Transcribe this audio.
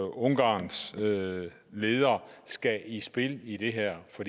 ungarns leder leder skal i spil i det her for